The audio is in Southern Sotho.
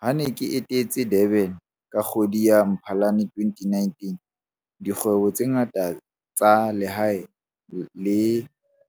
Ha ke ne ke etetse Durban ka kgwedi ya Mphalane 2019, dikgwebo tse ngata tsa lehae le